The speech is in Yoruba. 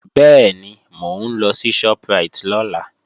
Bẹ́ẹ̀ni, mò ń lọ sí Shoprite lọ́la